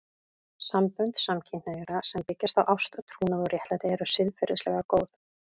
Sambönd samkynhneigðra sem byggja á ást, trúnaði og réttlæti eru siðferðilega góð.